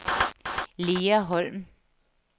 Lea Holm